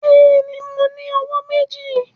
Bẹẹni, Mo ni ọwọ meji.